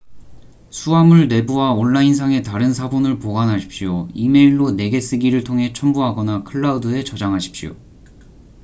수하물 내부와 온라인상에 다른 사본을 보관하십시오 이메일로 내게 쓰기를 통해 첨부하거나 클라우드'에 저장하십시오